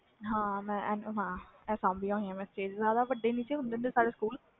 ਹਾਂ ਮੈਂ ਸਬੀਆਂ ਹੋਇਆ stage